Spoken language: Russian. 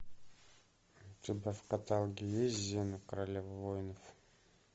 у тебя в каталоге есть зена королева воинов